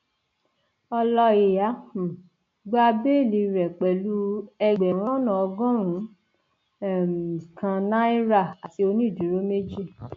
n ọlọìyá um gba bẹẹlí rẹ pẹlú ẹgbẹrún lọnà ọgọrùnún um kan náírà àti onídúróò méjì